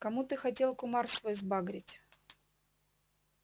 кому ты хотел кумар свой сбагрить